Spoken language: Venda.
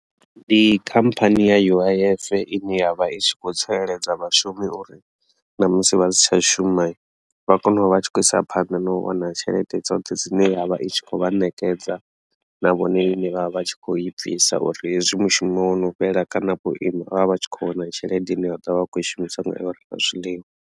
Ndi khamphani ya uif ine ya vha i tshi kho tsireledza vhashumi uri ṋamusi vha si tsha shuma vha kone u vha tshi khou isa phanḓa na u wana tshelede dzoṱhe dzine yavha i tshi khou vha nekedza na vhone ine vha vha vha tshi kho i bvisa uri hezwi mushumo wono fhela kana vho ima vha vha tshi kho wana tshelede ine ya ḓovha vha tshi kho i shumisa u renga zwiḽiwa.